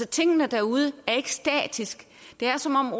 tingene derude er ikke statiske det er som om